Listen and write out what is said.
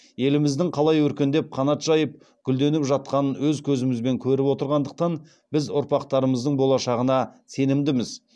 еліміздің қалай өркендеп қанат жайып гүлденіп жатқанын өз көзімізбен көріп отырғандықтан біз ұрпақтарымыздың болашағына сенімдіміз